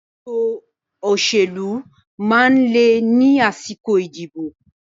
Ètò òṣèlú máa ń le ni àsìkò ìdìbò